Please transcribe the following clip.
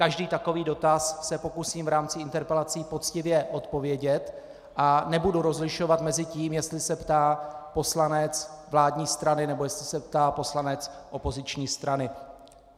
Každý takový dotaz se pokusím v rámci interpelací poctivě odpovědět a nebudu rozlišovat mezi tím, jestli se ptá poslanec vládní strany, nebo jestli se ptá poslanec opoziční strany.